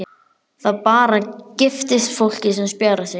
Það bara giftist fólki sem spjarar sig.